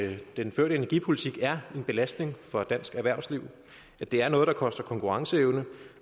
den førte energipolitik er en belastning for dansk erhvervsliv at det er noget der koster konkurrenceevne